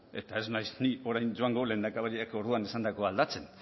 eta ez naiz ni orain joango lehendakariak orduan esandakoa aldatzen